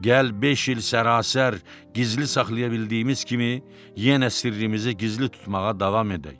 Gəl beş il sərasər gizli saxlaya bildiyimiz kimi, yenə sirrimizi gizli tutmağa davam edək.